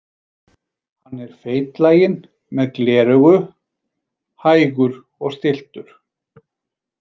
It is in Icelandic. Hann er feitlaginn með gleraugu, hægur og stilltur.